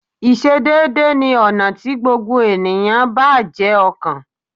Ìsedédé ni ọ̀nà tí gbogbo ènìyàn bá jé ọkàn